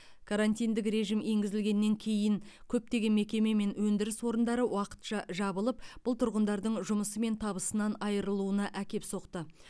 карантиндік режим енгізілгеннен кейін көптеген мекеме мен өндіріс орындары уақытша жабылып бұл тұрғындардың жұмысы мен табысынан айырылуына әкеп соқты